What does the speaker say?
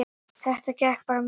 Þetta gekk bara mjög vel